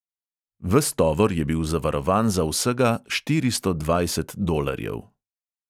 Ves tovor je bil zavarovan za vsega štiristo dvajset dolarjev!